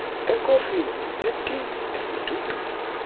ekofini etini esidudwini